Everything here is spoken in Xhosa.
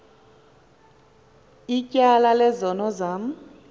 ityala lezono zam